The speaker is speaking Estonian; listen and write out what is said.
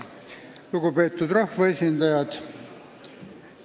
Lugupeetud rahvaesindajad!